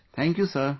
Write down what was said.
Thank you sir